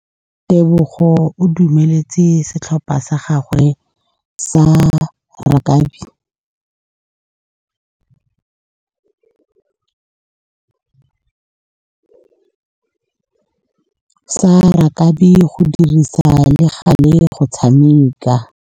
Tebogô o dumeletse setlhopha sa gagwe sa rakabi go dirisa le galê go tshameka.